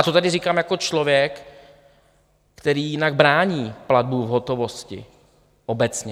A to tady říkám jako člověk, který jinak brání platbu v hotovosti obecně.